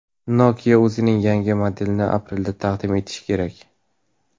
Nokia o‘zining yangi modelini aprelda taqdim etishi kerak.